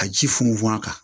A ji funfun a kan